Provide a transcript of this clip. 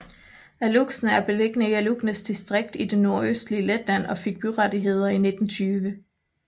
Alūksne er beliggende i Alūksnes distrikt i det nordøstlige Letland og fik byrettigheder i 1920